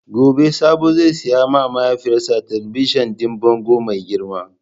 Gobe Sabo zai sayi ma mahaifiyarsa talabijin din bango mai girma.